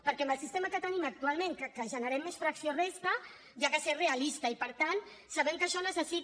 perquè amb el sistema que tenim actualment que generem més fracció resta cal ser realista i per tant sabem que això necessita